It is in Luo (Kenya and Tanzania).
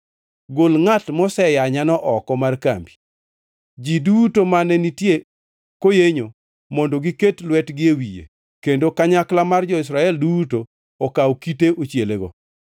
“Gol ngʼat moseyanyano oko mar kambi. Ji duto mane nitie koyenyo mondo giket lwetgi e wiye kendo kanyakla mar jo-Israel duto okaw kite ochielego.”